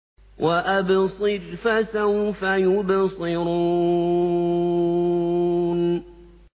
وَأَبْصِرْ فَسَوْفَ يُبْصِرُونَ